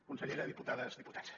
consellera diputades i diputats